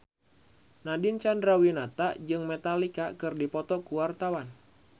Nadine Chandrawinata jeung Metallica keur dipoto ku wartawan